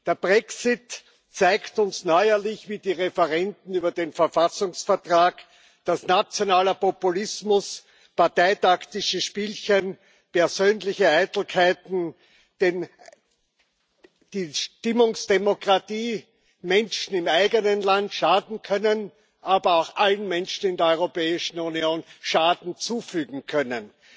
Der Brexit zeigt uns neuerlich, wie die Referenden über den Verfassungsvertrag, dass nationaler Populismus, parteitaktische Spielchen, persönliche Eitelkeiten und eine Stimmungsdemokratie den Menschen im eigenen Land schaden können, aber auch allen Menschen in der Europäischen Union Schaden zufügen können.